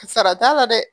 Sara t'a la dɛ